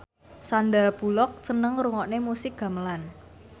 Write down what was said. Sandar Bullock seneng ngrungokne musik gamelan